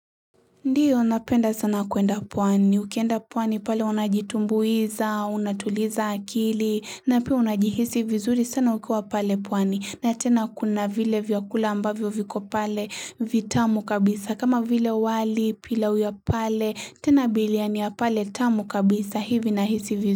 Ndio, napenda sana kuenda pwani, ukienda pwani pale unajitumbuiza, unatuliza akili, na pia unajihisi vizuri sana ukiwa pale pwani, na tena kuna vile vyakula ambavyo viko pale vitamu kabisa, kama vile wali pila uya pale tena biliani ya pale tamu kabisa hivi na hisi vi.